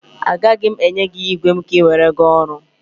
A gaghị m enye gị igwe m ka ị were gaa ọrụ.